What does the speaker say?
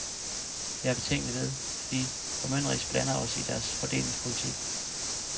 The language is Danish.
Jeg er betænkelig ved, at vi formynderisk blander os i deres fordelingspolitik.